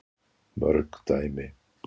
Mörg dæmi